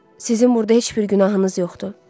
Sizin burada heç bir günahınız yoxdur.